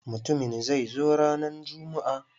Mutumin zai zo ranan jummu'a.